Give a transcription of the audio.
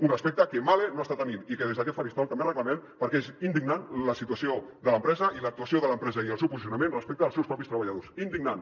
un respecte que mahle no està tenint i que des d’aquest faristol també reclamem perquè és indignant la situació de l’empresa i l’actuació de l’empresa i el seu posicionament respecte als seus propis treballadors indignant